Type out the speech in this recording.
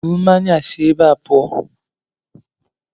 Buru mmanya a si ébé a pụọ!